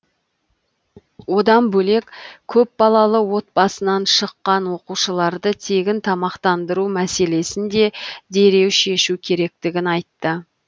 одан бөлек көпбалалы отбасынан шыққан оқушыларды тегін тамақтандыру мәселесін де дереу шешу керектігін айтты